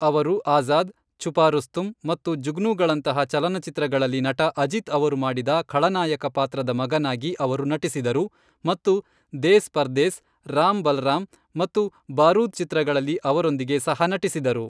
ಅವರು ಆಜಾದ್, ಛುಪಾ ರುಸ್ತುಂ ಮತ್ತು ಜುಗ್ನುಗಳಂತಹ ಚಲನಚಿತ್ರಗಳಲ್ಲಿ ನಟ ಅಜಿತ್ ಅವರು ಮಾಡಿದ ಖಳನಾಯಕ ಪಾತ್ರದ ಮಗನಾಗಿ ಅವರು ನಟಿಸಿದರು ಮತ್ತು ದೇಸ್ ಪರ್ದೇಸ್, ರಾಮ್ ಬಲರಾಮ್ ಮತ್ತು ಬಾರೂದ್ ಚಿತ್ರಗಳಲ್ಲಿ ಅವರೊಂದಿಗೆ ಸಹ ನಟಿಸಿದರು.